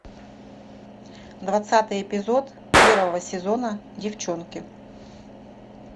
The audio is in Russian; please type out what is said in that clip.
двадцатый эпизод первого сезона девчонки